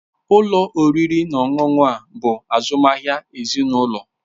Ụlọ oriri na ọṅụṅụ a bụ azụmahịa ezinụlọ.